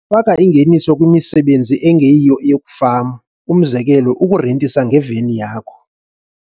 faka ingeniso kwimisebenzi engeyiyo eyokufama, umzekelo, ukurentisa ngeveni yakho.